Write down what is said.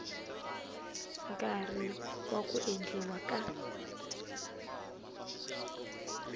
nkarhi wa ku endliwa ka